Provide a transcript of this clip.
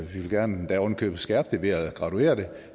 vi vil endda oven i købet gerne skærpe det ved at graduere det